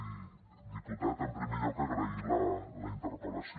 i diputat en primer lloc agrair li la interpel·lació